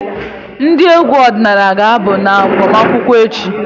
Ndị egwu ọdịnala ga-abụ na agbamakwụkwọ echi.